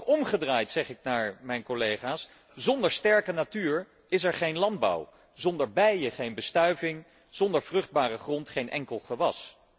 Maar ook omgekeerd zeg ik naar mijn collega's zonder sterke natuur is er geen landbouw, zonder bijen geen bestuiving, zonder vruchtbare grond geen enkel gewas.